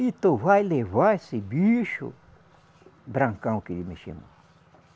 E tu vai levar esse bicho, Brancão, que ele me chamou.